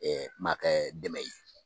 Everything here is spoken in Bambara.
Maa kɛ dɛmɛ ye